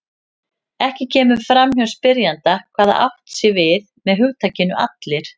Ekki kemur fram hjá spyrjanda hvað átt sé við með hugtakinu allir.